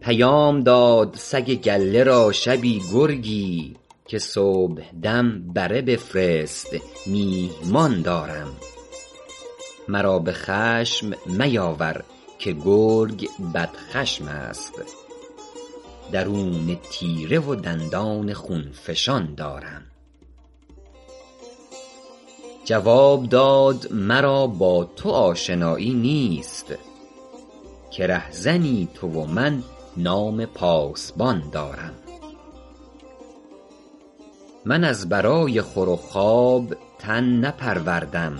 پیام داد سگ گله را شبی گرگی که صبحدم بره بفرست میهمان دارم مرا به خشم میاور که گرگ بدخشم است درون تیره و دندان خون فشان دارم جواب داد مرا با تو آشنایی نیست که رهزنی تو و من نام پاسبان دارم من از برای خور و خواب تن نپروردم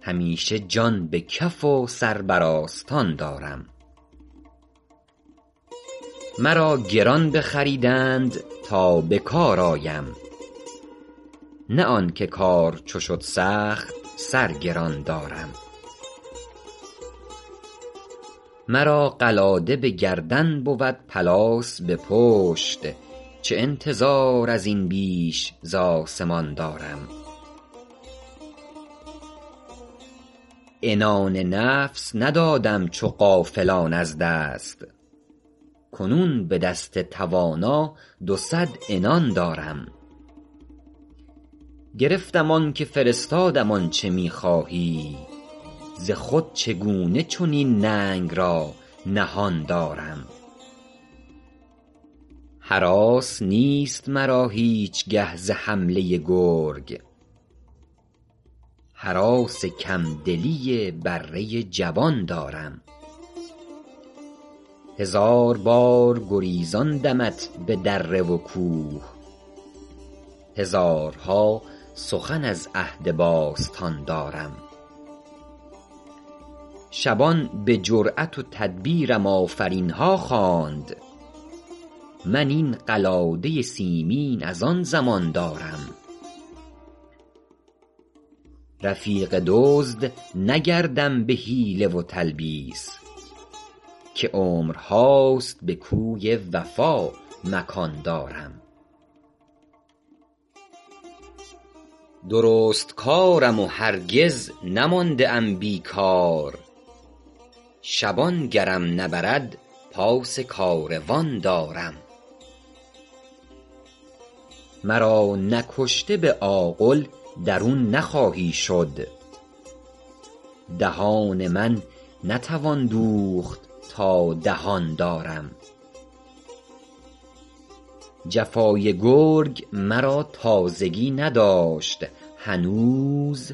همیشه جان به کف و سر بر آستان دارم مرا گران بخریدند تا بکار آیم نه آنکه کار چو شد سخت سر گران دارم مرا قلاده بگردن بود پلاس به پشت چه انتظار ازین بیش ز اسمان دارم عنان نفس ندادم چو غافلان از دست کنون بدست توانا دو صد عنان دارم گرفتم آنکه فرستادم آنچه میخواهی ز خود چگونه چنین ننگ را نهان دارم هراس نیست مرا هیچگه ز حمله گرگ هراس کم دلی بره جبان دارم هزار بار گریزاندمت به دره و کوه هزارها سخن از عهد باستان دارم شبان بجرات و تدبیرم آفرینها خواند من این قلاده سیمین از آن زمان دارم رفیق دزد نگردم بحیله و تلبیس که عمرهاست به کوی وفا مکان دارم درستکارم و هرگز نمانده ام بیکار شبان گرم نبرد پاس کاروان دارم مرا نکشته به آغل درون نخواهی شد دهان من نتوان دوخت تا دهان دارم جفای گرگ مرا تازگی نداشت هنوز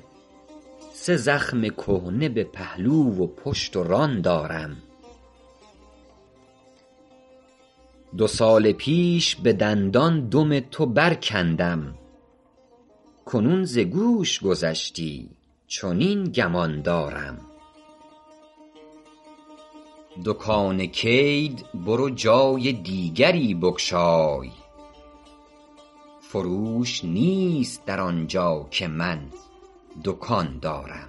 سه زخم کهنه به پهلو و پشت و ران دارم دو سال پیش بدندان دم تو برکندم کنون ز گوش گذشتی چنین گمان دارم دکان کید برو جای دیگری بگشای فروش نیست در آنجا که من دکان دارم